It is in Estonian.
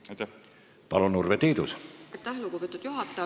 Aitäh, lugupeetud juhataja!